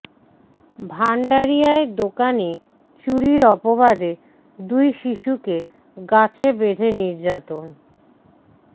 ভাণ্ডারিয়ায় দোকানে চুরির অপবাদে দুই শিশুকে গাছে বেঁধে নির্যাতন